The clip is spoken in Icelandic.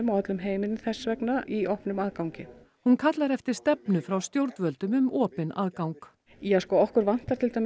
öllum heiminum þess vegna í opnum aðgangi hún kallar eftir stefnu frá stjórnvöldum um opinn aðgang ja sko okkur vantar